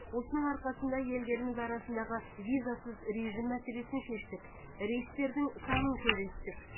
осының арқасында елдеріміз арасындағы визасыз режим мәселесін шештік рейстердің санын көбейттік